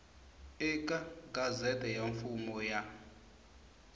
eka gazette ya mfumo ya